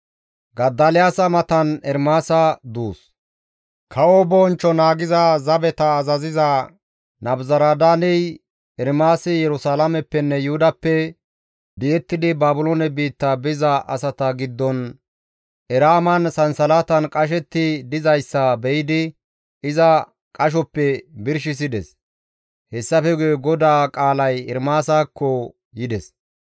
Kawo bonchcho naagiza zabeta azaziza Nabuzaradaaney Ermaasi Yerusalaameppenne Yuhudappe di7ettidi Baabiloone biitta biza asata giddon Eraaman sansalatan qashetti dizayssa be7idi iza qashoppe birshisides; hessafe guye GODAA qaalay Ermaasakko yides.